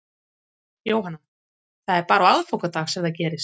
Jóhanna: Það er bara á aðfangadag sem það gerist?